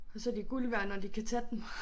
Og så de guld værd når de kan tage den